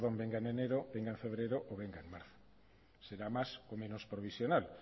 venga en febrero o venga en marzo será más o menos provisional